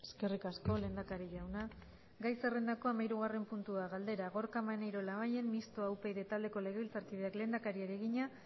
eskerrik asko lehendakari jauna gai zerrendako hamahirugarren puntua galdera gorka maneiro labayen mistoa upyd taldeko legebiltzarkideak lehendakariari egina